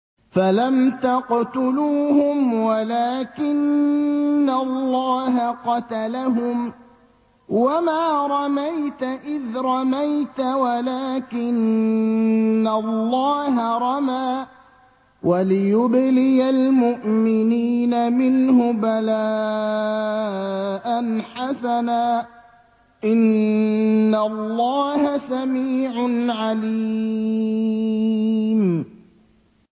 فَلَمْ تَقْتُلُوهُمْ وَلَٰكِنَّ اللَّهَ قَتَلَهُمْ ۚ وَمَا رَمَيْتَ إِذْ رَمَيْتَ وَلَٰكِنَّ اللَّهَ رَمَىٰ ۚ وَلِيُبْلِيَ الْمُؤْمِنِينَ مِنْهُ بَلَاءً حَسَنًا ۚ إِنَّ اللَّهَ سَمِيعٌ عَلِيمٌ